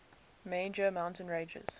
major mountain ranges